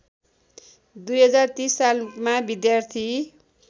२०३० सालमा विद्यार्थी